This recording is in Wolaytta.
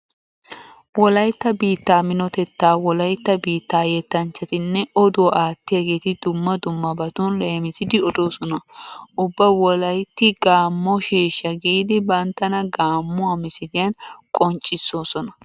Wolaytta biittaa minotetta wolaytta biittaa yettanchchatinne oduwa aattiyageeti dumma dummabatun leemisidi odoosona. Ubba wolaytti gaammo sheeshsha giidi banttana gaammuwa misiliyan qonccissoosona.